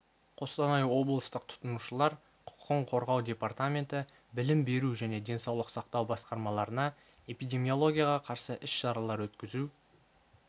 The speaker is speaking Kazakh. қостанай облыстық тұтынушылар құқығын қорғау департаменті білім беру және денсаулық сақтау басқармаларына эпидемиологияға қарсы іс-шаралар өткізу